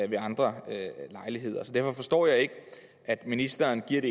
ved andre lejligheder så derfor forstår jeg ikke at ministeren giver